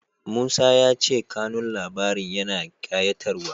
Musa ya ce kanun labarin yana ƙayatarwa.